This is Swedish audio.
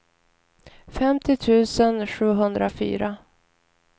femtio tusen sjuhundrafyra